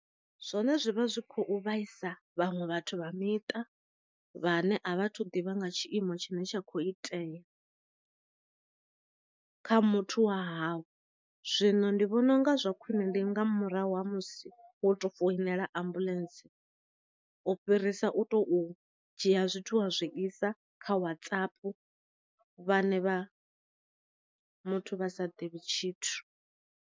Zwone zwi vha zwi khou vhaisa vhaṅwe vhathu vha miṱa vhane a vha thu ḓivha nga tshiimo tshine tsha kho itea kha muthu wa hau, zwino ndi vhona u nga zwa khwiṋe ndi nga murahu ha musi wo to foinela ambuḽentse u fhirisa u to dzhia zwithu wa zwisa kha WhatsApp vhane vha muthu vha sa ḓivhi tshithu.